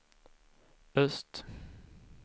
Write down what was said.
öst